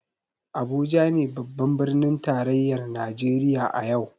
Abuja ne babban birnin tarayyar Najeriya a yau.